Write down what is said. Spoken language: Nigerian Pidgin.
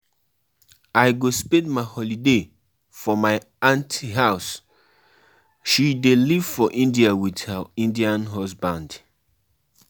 I go spend my holiday for my aunt house, she dey live for India with her Indian husband